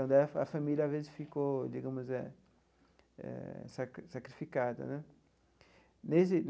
Então, a família às vezes ficou, digamos eh eh, sacri sacrificada né desde.